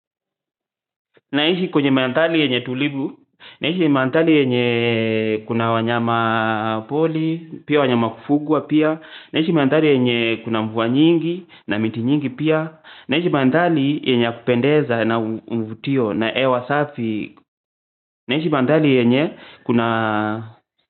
Naishi kwenye mandhali yenye tulibu, naishi mandhali yenye kuna wanyama poli, pia wanyama kufugwa pia, naishi mandhali yenye kuna mvua nyingi na miti nyingi pia, naishi mandhali yenye kupendeza na mvutio na hewa safi, naishi mandhali yenye kuna.